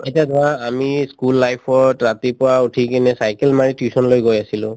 এতিয়া ধৰা আমি ই school life ত ৰাতিপুৱা উঠি কিনে cycle মাৰি tuition লৈ গৈ আছিলো